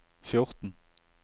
fjorten